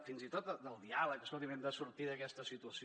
fins i tot del diàleg escolti’m hem de sortir d’aquesta situació